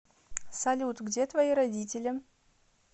салют где твои родители